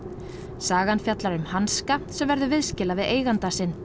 sagan fjallar um hanska sem verður viðskila við eiganda sinn